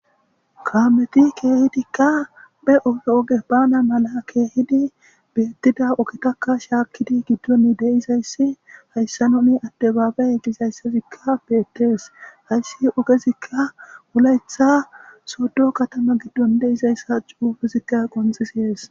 kameti keehidikka be oge oge bana mala keehidi beettida ogetaka shaakkidi giddon deizayssi hayssa nomi adde baabe egizayssazikka beettees hayssi ogezikka wulayetha soddo katama giddon deizayssa cuufezikka qonxisees